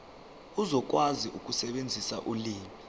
uzokwazi ukusebenzisa ulimi